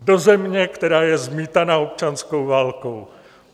Do země, která je zmítaná občanskou válkou!